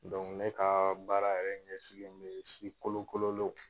ne ka baara yɛrɛ ɲɛsinnen bɛ si kolo kololenw.